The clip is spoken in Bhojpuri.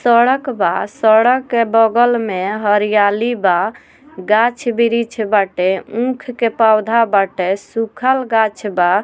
सड़क बा सड़क के बगल में हरियाली बा गाछ-वृक्ष बाटे ऊंख के पौधा बाटे सुखल गाछ बा।